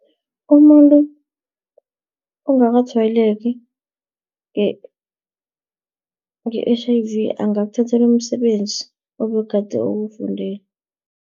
Umuntu ongakatshwayeleki nge-H_I_V, angakuthathela umsebenzi obegade uwufundele,